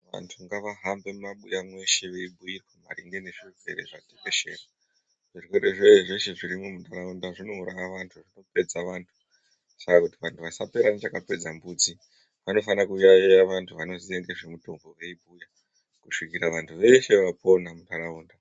Vantu ngavahambe mumabuya mweshe veibhuirwa maringe ngezvezvirwere zveshe. Zvirwere zveshe zvinouraya vantu kupedza vantu saka kuti vantu vasapera ngechakapedza mbudzi vanofana kuyaiya vantu vanoziya ngezvemutombo kusvikira vantu vese vapona muntaraunda.